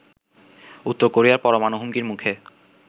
উত্তর কোরিয়ার পরমাণু হুমকির মুখে